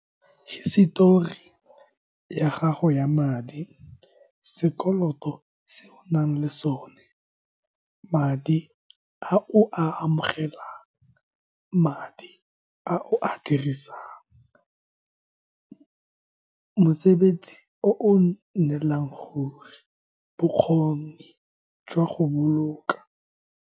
Hisitori ya gago ya madi, sekoloto se o nang le sone, madi a o a amogelang, madi a o a dirisang, mosebetsi o o nnelang ruri, bokgoni jwa go boloka.